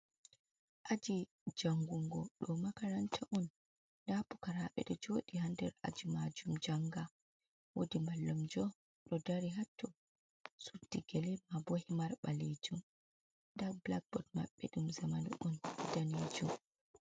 Aji jangungo ɗo makaranta un, nda pukaraɓe ɗo joɗi haa'nder aji majum janga. Wodi mallumjo ɗo dari hatto suddi gele ma bo himar ɓalejum. Nda blakbod maɓɓe dum zamani un danejum.